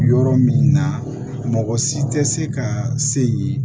Yɔrɔ min na mɔgɔ si tɛ se ka se yen